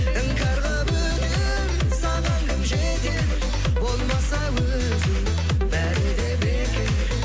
іңкәр қылып өтер саған кім жетер болмаса өзің бәрі де бекер